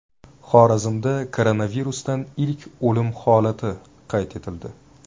Xorazmda koronavirusdan ilk o‘lim holati qayd etildi.